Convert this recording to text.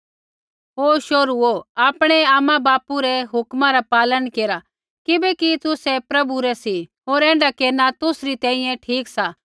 हे शोहरूओ आपणैआपणै आमाबापू रै हुक्मा रा पालन केरा किबैकि तुसै प्रभु रै सी होर ऐण्ढा केरना तुसरी तैंईंयैं ठीक सा